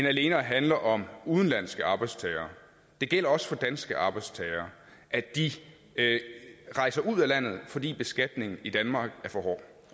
alene at handle om udenlandske arbejdstagere det gælder også for danske arbejdstagere at de rejser ud af landet fordi beskatningen i danmark er for hård